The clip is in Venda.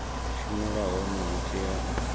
shumela hone hu tea u